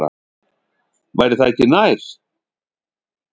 Væri það ekki nær?